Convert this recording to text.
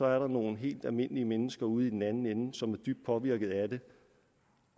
er der nogle helt almindelige mennesker ude i den anden ende som er dybt påvirket af den